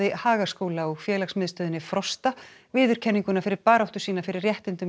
Hagaskóla og félagsmiðstöðinni Frosta viðurkenninguna fyrir baráttu sína fyrir réttindum